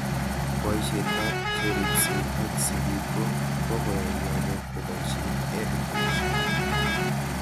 Poishet ab cheripsei ak sigik ko koyai lakok kopoishe EdTech